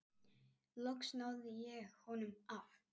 Loks náði ég honum af.